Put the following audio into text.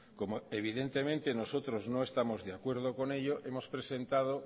como evidentemente nosotros no estamos de acuerdo con ello hemos presentado